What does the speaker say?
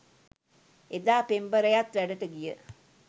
එදා පෙම්බරයත් වැඩට ගිය